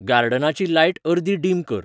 गार्डनाची light अर्दी dim कर